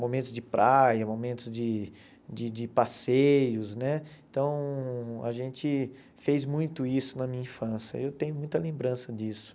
momentos de praia, momentos de de de passeios né, então a gente fez muito isso na minha infância, eu tenho muita lembrança disso.